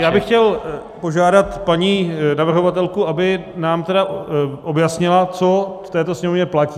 Já bych chtěl požádat paní navrhovatelku, aby nám tedy objasnila, co v této Sněmovně platí.